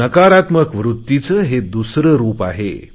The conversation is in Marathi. नकारात्मक वृत्तीचे हे दुसरे रुप आहे